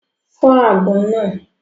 Fọ́ àgbọn náà!